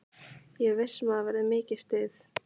Ég er viss um að það verður mikið stuð.